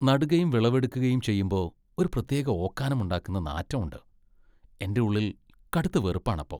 നടുകയും വിളവെടുക്കുകയും ചെയ്യുമ്പോ ഒരു പ്രത്യേക ഓക്കാനം ഉണ്ടാക്കുന്ന നാറ്റം ഉണ്ട്, എന്റെ ഉള്ളിൽ കടുത്ത വെറുപ്പാണ് അപ്പൊ.